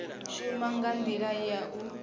shuma nga ndila ya u